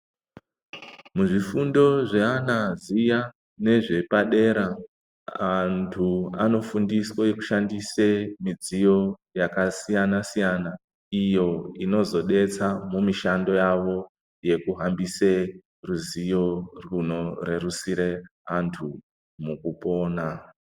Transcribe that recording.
Muzvifundo zveana zviya nezvepadera, antu anofundiswe kushandise midziyo yakasiyana-siyana, iyo inozodetsa mumishando yavo ,yekuhambise ruzivo rwuno rerusire antu mukupona.